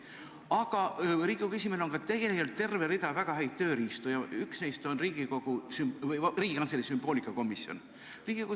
Aga Riigikogu esimehe käsutuses on terve rida väga häid tööriistu ja üks neist on Riigikantselei sümboolikakomisjon.